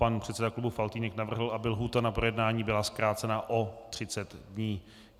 Pan předseda klubu Faltýnek navrhl, aby lhůta na projednání byla zkrácena o 30 dní.